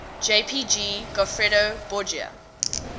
jpg goffredo borgia